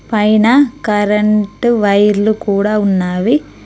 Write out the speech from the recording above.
పైన కరెంటు వైర్లు కూడా ఉన్నవి.